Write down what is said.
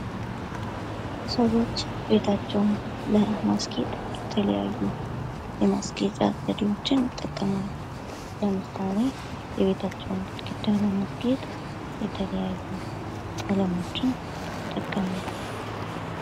ሰዎች ቤታቸውን ለማስጌጥ የተለያዩ የማስጌጫ ዘደወችን እንጠቀማለን። ለምሳሌ የቤታቸውን ግድግዳ ለማስጌጥ የተለያዩ ቀለሞችን ይጠቀማሉ።